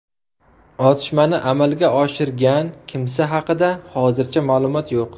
Otishmani amalga oshirgan kimsa haqida hozircha ma’lumot yo‘q.